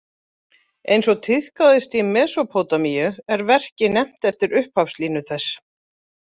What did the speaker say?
Eins og tíðkaðist í Mesópótamíu er verkið nefnt eftir upphafslínu þess.